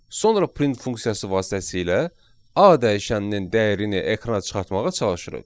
Sonra print funksiyası vasitəsilə A dəyişəninin dəyərini ekrana çıxartmağa çalışırıq.